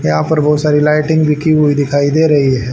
यहां पर बहुत सारी लाइटिंग भी की हुई दिखाई दे रही है।